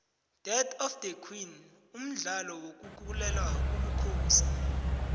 death of the king mdlalo wokulela ubukhosi